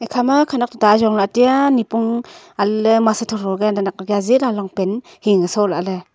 khama khanak chu ta ajong la ateya nipong ale masa thotho nakya jela longpant hing soh lahle.